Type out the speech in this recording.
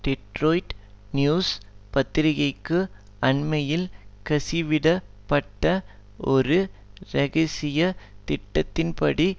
Detroit news பத்திரிகைக்கு அண்மையில் கசிவிடப்பட்ட ஒரு இரகசிய திட்டத்தின்படி